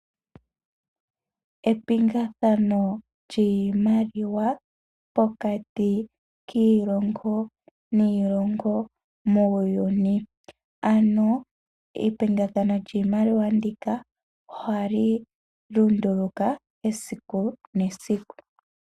Epingathano lyiimaliwa pokati kiilongo niilongo muuyuni. Epingathano lyiimaliwa ndika ohali lunduluka esiku nesiku.